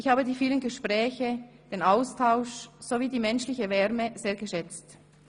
Ich habe die vielen Gespräche, den Austausch sowie die menschliche Wärme sehr geschätzt.